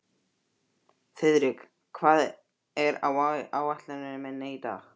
Þiðrik, hvað er á áætluninni minni í dag?